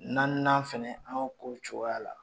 N na n'an fana an ko cogoya la